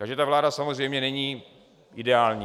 Takže ta vláda samozřejmě není ideální.